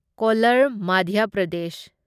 colour Madhya Pradesh